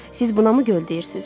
Siz buna mı göl deyirsiz?